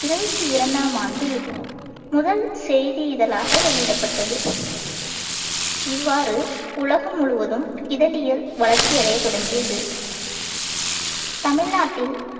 இருபத்தி இரண்டாம் ஆண்டில் முதல் செய்தி இதழாக வெளியிடப்பட்டது இவ்வாறு உலகம் முழுவதும் இதழியல் வளர்ச்சி அடையத் தொடங்கியது தமிழ்நாட்டில்